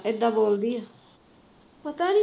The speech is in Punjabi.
ਇੱਦਾ ਬੋਲਦੀ ਐ ਪਤਾ ਨਹੀ